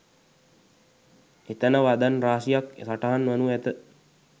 එතැන වදන් රාශියක් සටහන් වනු ඇත.